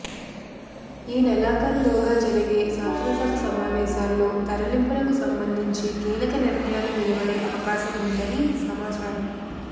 ఈ నెలాఖరులోగా జరిగే శాసనసభ సమావేశాల్లో తరలింపునకు సంబంధించి కీలక నిర్ణయాలు వెలువడే అవకాశం ఉందని సమాచారం